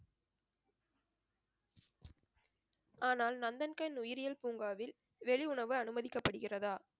ஆனால் நந்தன்கண் உயிரியல் பூங்காவில் வெளி உணவு அனுமதிக்கப்படுகிறதா